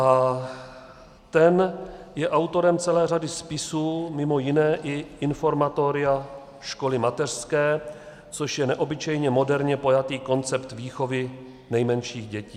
A ten je autorem celé řady spisů, mimo jiné i Informatoria školy mateřské, což je neobyčejně moderně pojatý koncept výchovy nejmenších dětí.